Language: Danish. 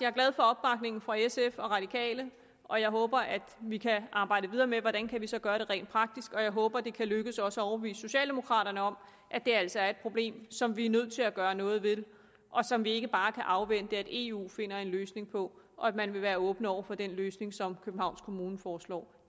glad for opbakningen fra sf og fra radikale og jeg håber at vi kan arbejde videre med hvordan vi så kan gøre det rent praktisk jeg håber også det kan lykkes os at overbevise socialdemokraterne om at det altså er et problem som vi er nødt til at gøre noget ved og som vi ikke bare kan afvente at eu finder en løsning på og at man vil være åben over for den løsning som københavns kommune foreslår